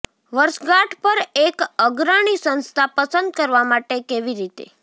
વર્ષગાંઠ પર એક અગ્રણી સંસ્થા પસંદ કરવા માટે કેવી રીતે